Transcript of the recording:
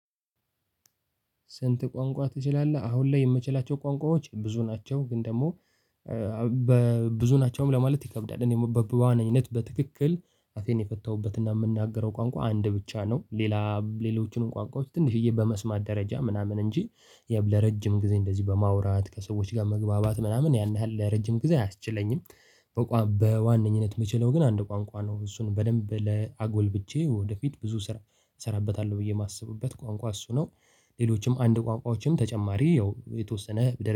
ስንት? ቋንቋ ትችላለህ አሁን ላይ የምችላቸው ቋንቋዎች ብዙ ናቸው ግን ደግሞ በብዙ ናቸውም ለማለት ይከብዳል በዋነኝነት በትክክል አፌን የፈታሁበትና የምናገረው ቋንቋ አንድ ብቻ ነው ሌላ ሌሎቹንም ቋንቋዎች ትንሽዬ በመስማት ደረጃ ምናምን እንጂ ለረጅም ጊዜ እንደዚህ በማውራት ከሰዎች ጋር መግባባት ምናምን ያን ያህል ለረጅም ጊዜ አያስችለኝም። በዋነኝነት የምችለው ግን አንድ ቋንቋ ነው እሱን በደንብ ለአጎልብቼ ወደፊት ብዙ ስራ እሰራበታለሁ ብዬ የማስብበት ቋንቋ እሱ ነው። ሌሎችም አንድ ቋንቋዎችም ተጨማሪ ያው የተወሰነ